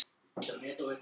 Lilla leit á dagatalið.